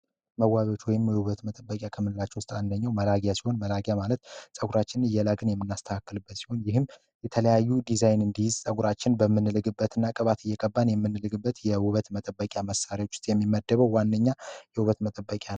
መዋጆች ወይም ሙሉበት መጠበቂ ከምንላቸው አንደኛው መላኪያ ማለት ጸጉራችን እየላስተካክልበት ይህም የተለያዩ ፀጉራችን በምንግበት እና ቅባትበት የውበት መጠበቂያ መሳሪያዎች የሚመደበው ዋነኛ የውበት መጠበቂያ